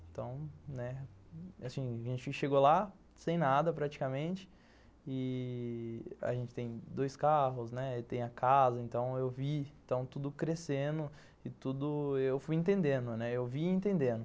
Então, né, assim, a gente chegou lá sem nada, praticamente, e a gente tem dois carros, né, tem a casa, então eu vi tudo crescendo e tudo, eu fui entendendo, né, eu vi e entendendo.